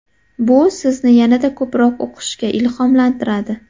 Bu sizni yanada ko‘proq o‘qishga ilhomlantiradi.